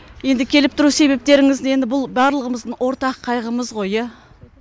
енді келіп тұру себептеріңіз енді бұл барлығымыздың ортақ қайғымыз ғой иә